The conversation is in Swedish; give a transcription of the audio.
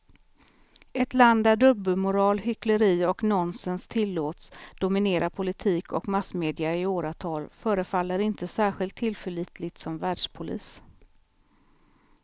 Ett land där dubbelmoral, hyckleri och nonsens tillåts dominera politik och massmedia i åratal förefaller inte särskilt tillförlitligt som världspolis.